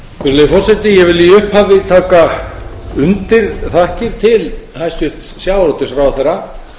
virðulegi forseti ég vil í upphafi taka undir þakkir til hæstvirts sjávarútvegsráðherra